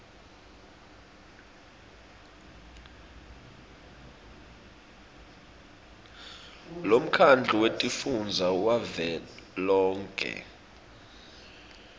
lemkhandlu wetifundza wavelonkhe